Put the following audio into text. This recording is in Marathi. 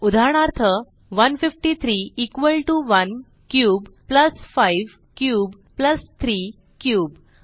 उदाहरणार्थ 153 equal to 1 cube plus 5 cube plus 3 cube